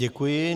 Děkuji.